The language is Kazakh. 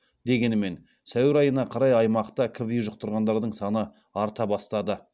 дегенімен сәуір айына қарай аймақта кви жұқтырғандардың саны арта бастады